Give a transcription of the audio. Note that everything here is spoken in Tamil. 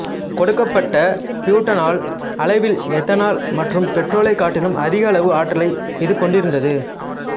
கொடுக்கப்பட்ட பியூட்டனால் அளவில் எத்தனால் மற்றும் பெட்ரோலைக்காட்டிலும் அதிக அளவு ஆற்றலை இது கொண்டிருந்தது